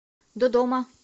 додома